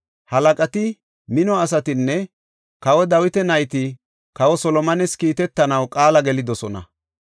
Halaqati, mino asatinne kawa Dawita nayti kawa Solomones kiitetanaw qaala gelidosona.